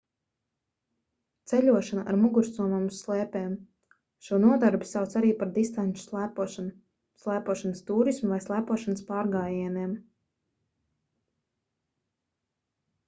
ceļošana ar mugursomām uz slēpēm šo nodarbi sauc arī par distanču slēpošanu slēpošanas tūrismu vai slēpošanas pārgājieniem